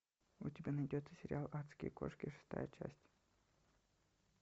у тебя найдется сериал адские кошки шестая часть